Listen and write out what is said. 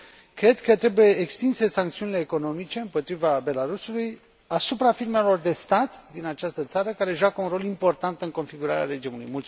cred că trebuie extinse sancțiunile economice împotriva Belarusului asupra firmelor de stat din această țară, care joacă un rol important în configurarea regiunii.